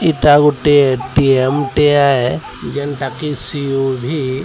ଇଟା ଗୁଟେ ଏ_ଟି_ଏମ୍ ଟିଏ ଯେଣ୍ଟା କି ସି_ଉ_ଭି ।